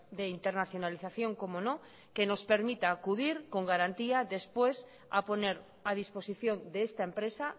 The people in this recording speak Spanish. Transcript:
de internacionalización cómo no que nos permita acudir con garantía después a poner a disposición de esta empresa